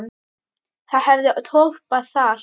Það hefði toppað allt.